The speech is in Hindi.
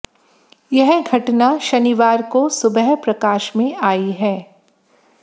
यह घटना शनिवार को सुबह प्रकाश में आयी है